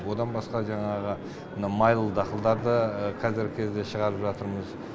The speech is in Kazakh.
одан басқа жаңағы мына майлы дақылдарды қазіргі кезде шығарып жатырмыз